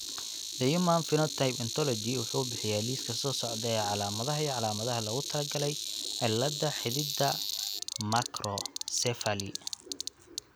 The Human Phenotype Ontology wuxuu bixiyaa liiska soo socda ee calaamadaha iyo calaamadaha loogu talagalay cilladda xididdada makrocephaly.